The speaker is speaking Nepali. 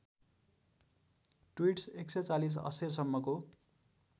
ट्वीट्स १४० अक्षरसम्मको